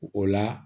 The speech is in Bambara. O la